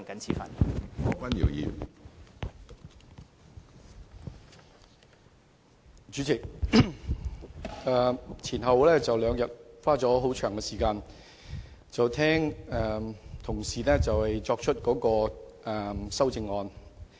主席，前兩天，我花了很長時間聆聽同事提出修正案。